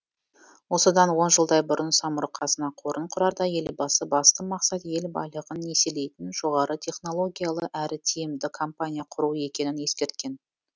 осыдан он жылдай бұрын самұрық қазына қорын құрарда елбасы басты мақсат ел байлығын еселейтін жоғары технологиялы әрі тиімді компания құру екенін ескерткен